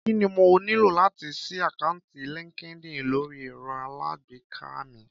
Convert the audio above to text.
Kí ni mo nílò láti ṣí àkáǹtì LinkedIn lórí ẹ̀rọ alágbèéká mi?